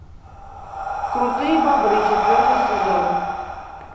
крутые бобры четвертый сезон